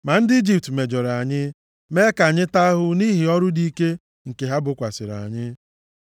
Ma ndị Ijipt mejọrọ anyị, mee ka anyị taa ahụhụ nʼihi ọrụ dị ike nke ha bokwasịrị anyị.